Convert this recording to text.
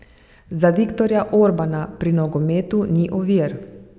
Za Viktorja Orbana pri nogometu ni ovir.